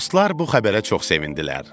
Dostlar bu xəbərə çox sevindilər.